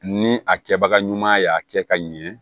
Ni a kɛbaga ɲuman y'a kɛ ka ɲɛ